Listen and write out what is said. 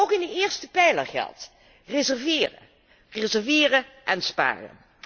ook in de eerste pijler geldt reserveren, reserveren en sparen.